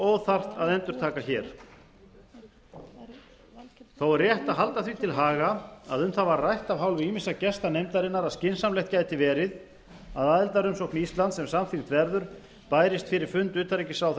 og óþarft að endurtaka hér þó er rétt að halda því til haga að um það var rætt af hálfu ýmissa gesta nefndarinnar að skynsamlegt gæti verið að aðildarumsókn íslands ef samþykkt verður bærist fyrir fund utanríkisráðherra